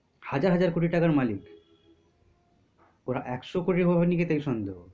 হাজার হাজার কোটি টাকার মালিক। ওর একশ কোটি হবে নাকি সন্দেহ।